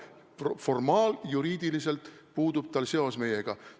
Formaaljuriidiliselt tal seos meiega puudub.